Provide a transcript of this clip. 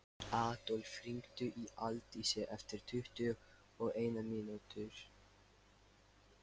Adólf, hringdu í Aldísi eftir tuttugu og eina mínútur.